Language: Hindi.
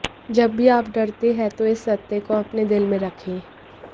जब भी आप डरते हैं तो इस सत्य को अपने दिल में रखें